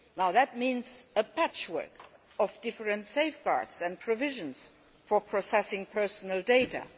That means a patchwork of different safeguards and provisions for processing personal data.